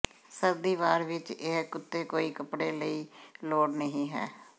ਸਰਦੀ ਵਾਰ ਵਿਚ ਇਹ ਕੁੱਤੇ ਕੋਈ ਕੱਪੜੇ ਲਈ ਲੋੜ ਨਹੀ ਹੈ